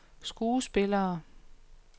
skuespillere